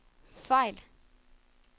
fejl